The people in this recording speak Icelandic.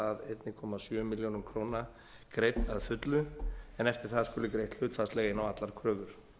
einn komma sjö milljónum króna greidd að fullu en eftir það skuli greitt hlutfallslega inn á allar kröfur